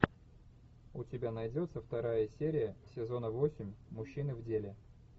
у тебя найдется вторая серия сезона восемь мужчины в деле